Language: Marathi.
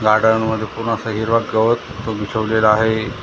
गार्डन मध्ये पूर्ण असा हिरवा गवत बिछावलेला आहे.